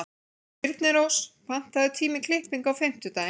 Þyrnirós, pantaðu tíma í klippingu á fimmtudaginn.